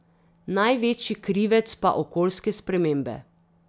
Največji krivec pa okoljske spremembe.